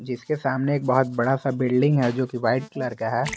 जिसके सामने एक बहोत बड़ा सा बिल्डिंग है जो कि वाइट कलर का है।